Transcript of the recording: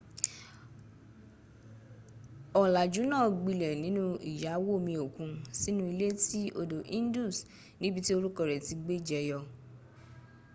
olàjú náà gbilẹ̀ nínú iyàwòomiòkun sínú ilé tí odò indus níbití orúkọ rẹ tí gbẹjẹyọ